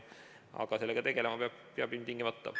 Aga sellega tegelema peab ilmtingimata.